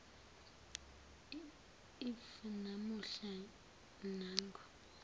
if namuhla nangu